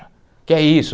O que é isso?